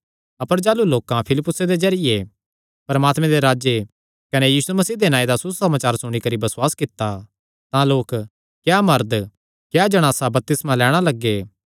अपर जाह़लू लोकां फिलिप्पुसे दे जरिये परमात्मे राज्जे कने यीशु मसीह दे नांऐ दा सुसमाचार सुणी करी बसुआस कित्ता तां लोक क्या मरद क्या जणासां बपतिस्मा लैणां लग्गे